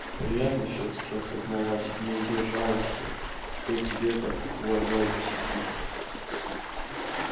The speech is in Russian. приятно всё-таки осознавать не удержалась я что тебя так уважают в сети